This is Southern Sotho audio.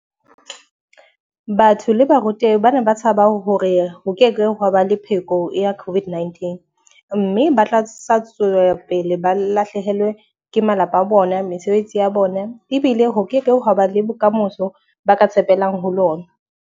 Batho le ba rute bana ba tshaba hore ho keke hwa ba le pheko ya COVID-19. Mme ba tla sa tswela pele ba lahlehelwe ke malapa a bona, mesebetsi ya bona. Ebile ho keke hwa ba le bokamoso ba ka tshepelang ho lona.